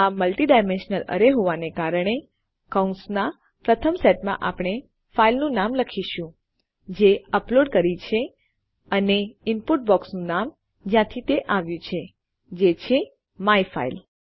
આ multi dimensional array છે હોવાને કારણે કૌંસના પ્રથમ સેટમાં આપણે ફાઈલનું નામ લખીશું જે અપલોડ કર્યી છે અને ઇનપુટ બોક્સ નું નામ જ્યાંથી તે આવ્યું છે જે છે માયફાઇલ